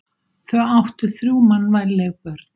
Þau áttu þrjú mannvænleg börn.